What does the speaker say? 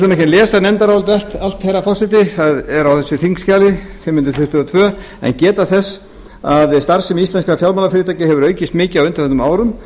ætla nú ekki að lesa nefndarálitið allt herra forseti það er á þessu þingskjali fimm hundruð tuttugu og tvö en geta þess að starfsemi íslenskra fjármálafyrirtækja hefur aukist mikið á undanförnum árum